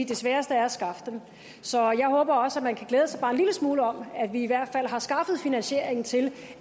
det sværeste er at skaffe dem så jeg håber også at man kan glæde sig bare en lille smule over at vi i hvert fald har skaffet finansiering til